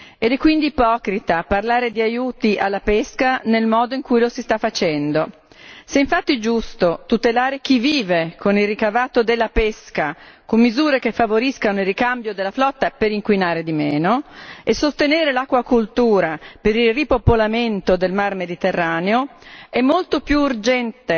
È quindi ipocrita parlare di aiuti alla pesca nel modo in cui lo si sta facendo. Se è infatti giusto tutelare chi vive con il ricavato della pesca con misure che favoriscano il ricambio della flotta per inquinare di meno e sostenere l'acquacoltura per il ripopolamento del Mar Mediterraneo, è molto più urgente